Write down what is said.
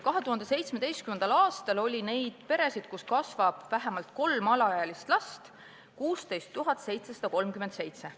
2017. aastal oli neid peresid, kus kasvab vähemalt kolm alaealist last, 16 737.